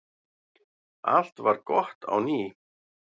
Allt varð gott á ný.